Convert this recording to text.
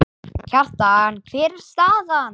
Kjartan, hver er staðan?